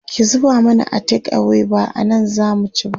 ki zuba mana a take away ba anan zamu ci ba